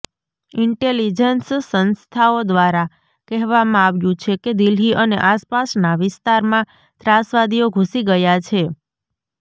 intelligence સંસ્થાઓ દ્વારા કહેવામાં આવ્યુ છે કે દિલ્હી અને આસપાસના વિસ્તારમાં ત્રાસવાદીઓ ઘુસી ગયા છે